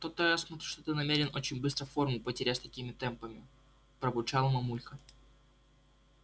то-то я смотрю что ты намерен очень быстро форму потерять с такими темпами пробурчала мамулька